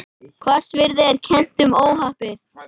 Hvassviðri er kennt um óhappið